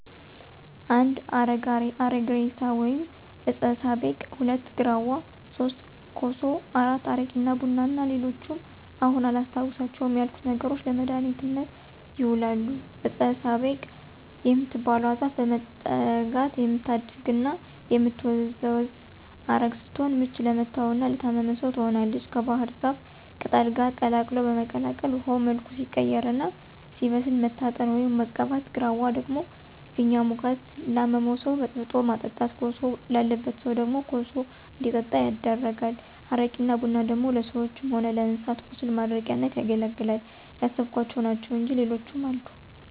1. አረግ እሬሳ ወይም ዕጸ ሳቤቅ፣ 2. ግራዋ፣ 3. ኮሶ፣ 4. አረቂ እና ቡና እና ሌሎችም አሁን አላስታውሳቸው ያልኩት ነገሮች ለመድሀኒትነት ይውላሉ። ዕጸ ሳቤቅ የምትባለው ዛፍ በመጠጋት የምታድግና የምትመዘዝ ዐረግ ስትሆን ምች ለመታውና ለታመመ ሰው ትሆናለች ከባሕር ዛፍ ቅጠል ጋር ቀላቅሎ በመቀቀል ውሀው መልኩ ሲቀይርና ሲበስል መታጠን፣ ወይም መቀባት። ግራዋ ደግሞ ፊኛ ውጋት ላመመው ሰው በጥብጦ ማጠጣት። ኮሶ ላለበት ሰው ደግሞ ኮሱ እንዲጠጣ ይደረጋል። አረቂና ቡና ደግሞ ለሰዎችም ሆነ ለእንስሳት ቁስል ማድረቂያነት ያገለግላል። ያሰብኋቸው ናቸው እንጅ ሌሎችም አሉ።